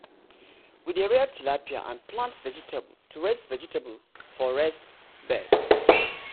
we dey rear tilapia and plant vegetable for raised vegetable for raised bed.